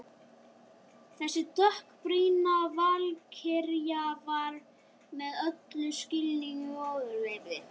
Þessi dökkbrýnda valkyrja var mér í öllum skilningi ofurefli.